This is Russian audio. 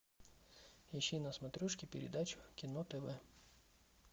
ищи на смотрешке передачу кино тв